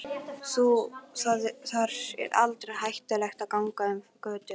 Þar er aldrei hættulegt að ganga um götur.